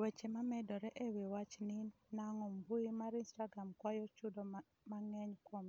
Weche mamedore e wi wach ni nang'o mbui mar Instagram kwayo chudo mang'eny kuom